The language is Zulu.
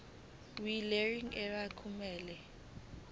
welearning area kumele